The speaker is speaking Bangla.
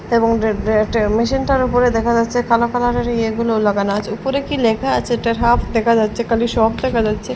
এবং এ এ মেশিনটার উপরে দেখা যাচ্ছে কালো কালারের ইয়ে গুলো লাগানো আছে উপরে কি লেখা আছে এটার হাফ দেখা যাচ্ছে খালি সপ দেখা যাচ্ছে।